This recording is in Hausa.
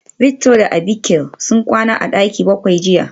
Victor da Abike sun kwana a daki bakwai jiya